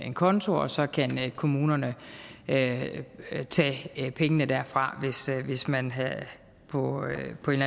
en konto og så kan kommunen tage pengene derfra hvis man på